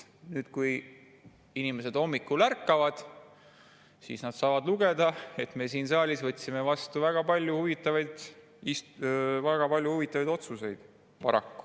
Kui inimesed hommikul ärkavad, siis paraku saavad nad lugeda, et me oleme siin saalis vastu võtnud väga palju huvitavaid otsuseid.